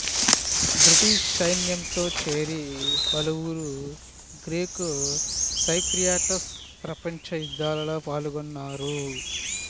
British సైన్యంతో చేరి పలువురు గ్రీకు సైప్రియాటస్ ప్రపంచ యుద్ధాలలో పాల్గొన్నారు